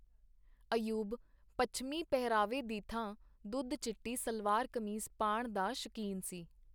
ਅਯੂਬ ਪੱਛਮੀ ਪਹਿਰਾਵੇ ਦੀ ਥਾਂ ਦੁੱਧ-ਚਿੱਟੀ ਸਲਵਾਰ-ਕਮੀਜ਼ ਪਾਣ ਦਾ ਸ਼ੌਕੀਨ ਸੀ.